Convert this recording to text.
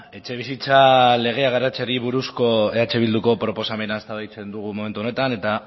etxebizitza legea garatzeari buruzko eh bilduko proposamena eztabaidatzen dugu momentu honetan eta